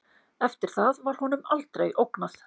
Eftir það var honum aldrei ógnað